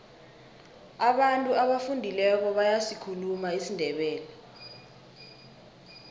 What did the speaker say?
abantu abafundileko bayasikhuluma isindebele